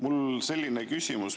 Mul on selline küsimus.